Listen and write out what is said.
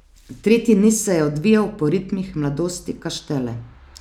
Tretji niz se je odvijal po ritmih Mladosti Kaštele.